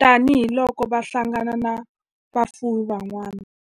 tani hi loko va hlangana na vafuwi van'wana.